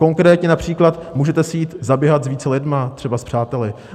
Konkrétně například, můžete si jít zaběhat s více lidmi, třeba s přáteli?